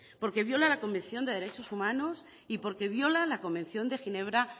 porque viola la convención de derechos humanos y porque viola la convención de ginebra